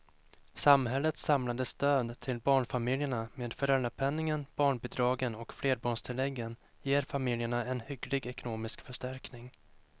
Samhällets samlade stöd till barnfamiljerna med föräldrapenningen, barnbidragen och flerbarnstilläggen ger familjerna en hygglig ekonomisk förstärkning.